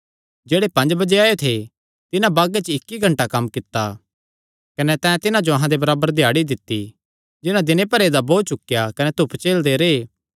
जेह्ड़े पंज बजे आएयो थे तिन्हां बागे च इक्क ई घंटा कम्म कित्ता कने तैं तिन्हां जो अहां दे बराबर दिहाड़ी दित्ती जिन्हां दिन भरदा बोझ चुकेया कने धूप झेलदे रैह्